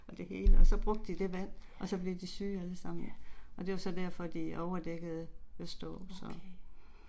Og det hele og så brugte de vand og så blev de syge alle sammen og det var så derfor de overdækkede Østerå, så